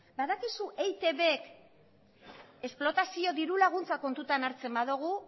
badakizu eitbk esplotazio diru laguntza kontutan hartzen badugu